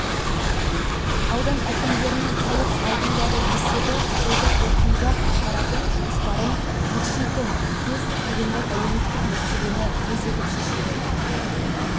аудан әкімдерінің халық алдындағы есебі жылды қорытындылап атқаратын жұмыстарын екшейтін кез тұрғындар әлеуметтік мәселені тездетіп шешуді